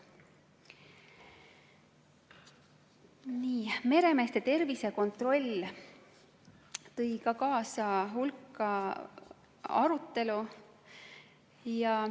Meremeeste tervisekontroll tõi kaasa hulka arutelu.